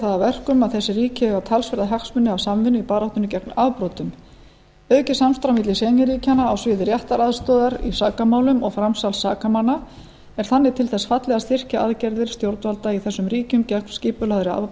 það að verkum að þessi ríki eiga talsverða hagsmuni af samvinnu í baráttunni gegn afbrotum aukið samstarf á milli schengen ríkjanna á sviði réttaraðstoðar í sakamálum og framsals sakamanna er þannig til þess fallið að styrkja aðgerðir stjórnvalda í þessum ríkjum gegn skipulagðri